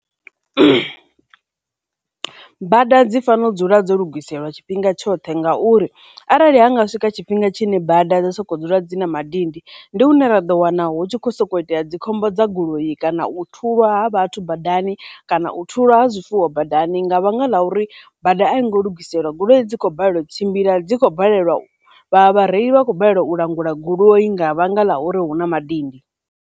, bada dzi fanela u dzula dzo lugiselwa tshifhinga tshoṱhe ngauri arali hanga swika tshifhinga tshine bada dza sokou dzula dzi na madindi, ndi hune ra ḓo wana hu tshi khou soko itea dzikhombo dza goloi kana u thulwa ha vhathu badani kana u thulwa ha zwifuwo badani nga vhanga ḽa uri bada a i ngo lugiselwa, goloi dzi khou balelwa u tshimbila dzi kho balelwa, vha vhareili vha khou balelwa u langula goloi nga vhanga ḽa uri huna madindi.